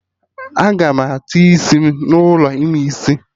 Agam atọ isi m n'ụlọ ime isi